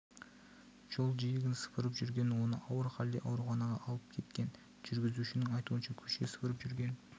жол жиегін сыпырып жүрген оны ауыр халде ауруханаға алып кеткен жүргіушінің айтуынша көше сыпырып жүрген